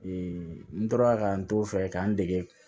n tora ka n to fɛ k'an dege